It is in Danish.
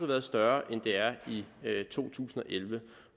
været større end det er i to tusind og elleve